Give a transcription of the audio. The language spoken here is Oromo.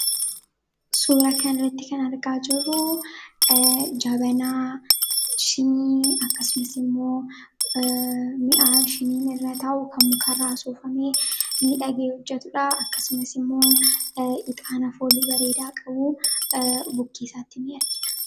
Suura kana irratti kan argaa jirru Jabanaa, Shiinii akkasumas immoo mi'a shiiniin irra taa'u; Kan mukarraa soofamee miidhagee hojjetudha. Akkasumas immoo Ixaana foolii bareedaa qabu bukkee isaatti ni'argina.